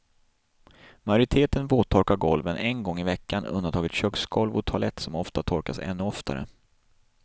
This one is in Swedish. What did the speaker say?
Majoriteten våttorkar golven en gång i veckan, undantaget köksgolv och toalett som ofta torkas ännu oftare.